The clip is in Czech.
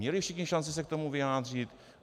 Měli všichni šanci se k tomu vyjádřit?